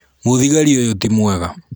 Mũthigari ũyũ ti mwega.